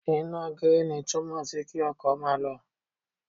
Iná gíríìnì túmọ̀ sí kí ọkọ̀ máa lọ.